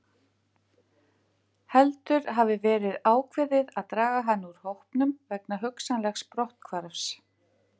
Við skulum skoða þessi tvö viðhorf til vísinda aðeins betur.